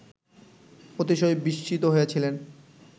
অতিশয় বিস্মিত হইয়াছিলেন